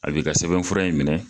A b'i ka sɛbɛn fura in minɛ